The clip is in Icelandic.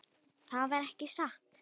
Það var ekki satt.